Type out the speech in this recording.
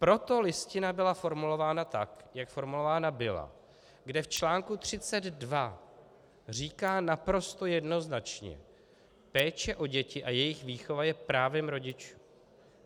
Proto Listina byla formulována tak, jak formulována byla, kde v článku 32 říká naprosto jednoznačně: "Péče o děti a jejich výchova je právem rodičů.